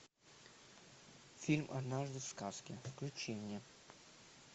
фильм однажды в сказке включи мне